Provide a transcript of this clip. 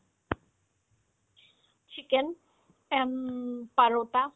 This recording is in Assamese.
chicken and parotta